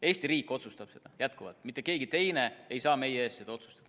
Eesti riik otsustab seda, jätkuvalt, mitte keegi teine ei saa meie eest seda otsustada.